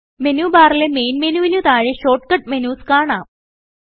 menu ബാറിലെ main മെനുവിന് താഴെയായി ഷോർട്ട് കട്ട് മെനുസ് കാണാം